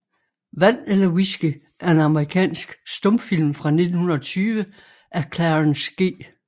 Vand eller Whisky er en amerikansk stumfilm fra 1920 af Clarence G